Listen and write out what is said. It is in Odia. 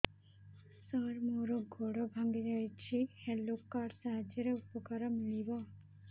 ସାର ମୋର ଗୋଡ଼ ଭାଙ୍ଗି ଯାଇଛି ହେଲ୍ଥ କାର୍ଡ ସାହାଯ୍ୟରେ ଉପକାର ମିଳିବ